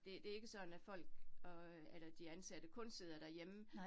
Det det ikke sådan, at folk og øh eller de ansatte kun sidder derhjemme